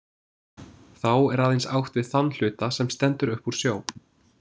Þá er aðeins átt við þann hluta, sem stendur upp úr sjó.